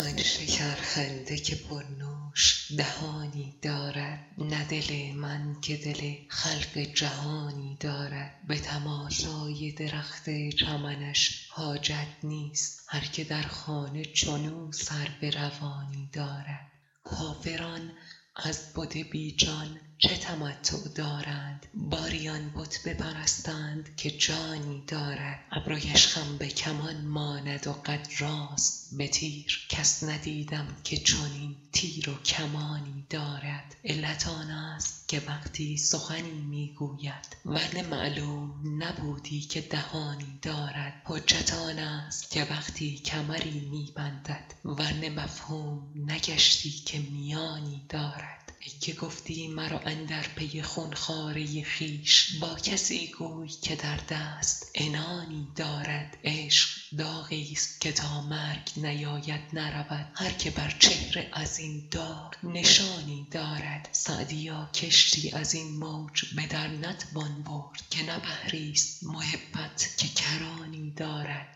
آن شکرخنده که پرنوش دهانی دارد نه دل من که دل خلق جهانی دارد به تماشای درخت چمنش حاجت نیست هر که در خانه چنو سرو روانی دارد کافران از بت بی جان چه تمتع دارند باری آن بت بپرستند که جانی دارد ابرویش خم به کمان ماند و قد راست به تیر کس ندیدم که چنین تیر و کمانی دارد علت آنست که وقتی سخنی می گوید ور نه معلوم نبودی که دهانی دارد حجت آنست که وقتی کمری می بندد ور نه مفهوم نگشتی که میانی دارد ای که گفتی مرو اندر پی خون خواره خویش با کسی گوی که در دست عنانی دارد عشق داغیست که تا مرگ نیاید نرود هر که بر چهره از این داغ نشانی دارد سعدیا کشتی از این موج به در نتوان برد که نه بحریست محبت که کرانی دارد